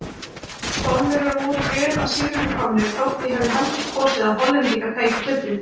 Spánverjar voru vel að sigrinum komnir þótt ég hefði heldur kosið að Hollendingar tækju gullið.